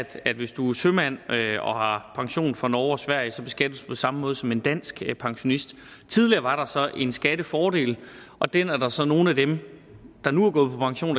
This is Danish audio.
at hvis du er sømand og har pension fra norge og sverige beskattes du på samme måde som en dansk pensionist tidligere var der så en skattefordel og den er der så nogle af dem der nu er gået på pension